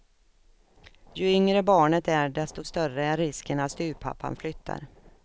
Ju yngre barnet är desto större är risken att styvpappan flyttar.